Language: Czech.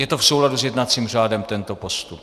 Je to v souladu s jednacím řádem, tento postup.